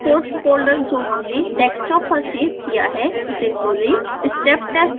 scilab local codes folder जो हमने desktop पर सेव किया है उसे खोलें